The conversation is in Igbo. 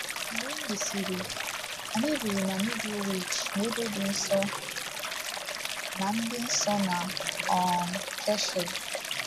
Mgbe e mesịrị, anyị biri na Middlewich n’ebe dị nso na dị nso na um Cheshire.